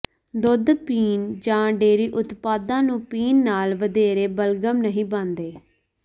ਦੁੱਧ ਪੀਣ ਜਾਂ ਡੇਅਰੀ ਉਤਪਾਦਾਂ ਨੂੰ ਪੀਣ ਨਾਲ ਵਧੇਰੇ ਬਲਗਮ ਨਹੀਂ ਬਣਦੇ